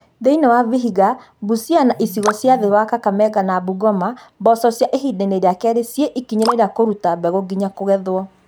Thĩinĩ wa Vihiga, Busia na icigo cia thĩ wa Kakamega na Bungoma, mboco cia ĩhindainĩ rĩa kerĩ cĩe ikinyainĩ rĩa kũrũta mbegũ nginya kũgethwo